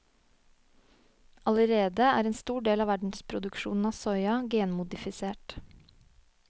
Allerede er en stor del av verdensproduksjonen av soya genmodifisert.